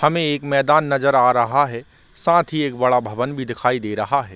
हमें एक मैदान नज़र आ रहा है साथ ही एक बड़ा भवन भी दिखाई दे रहा है।